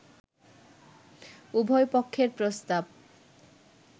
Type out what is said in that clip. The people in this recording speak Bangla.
“উভয় পক্ষের প্রস্তাব